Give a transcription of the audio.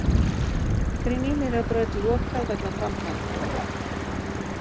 Kringlumýrarbraut lokað vegna framkvæmda